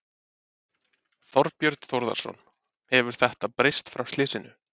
Þorbjörn Þórðarson: Hefur þetta breyst frá slysinu?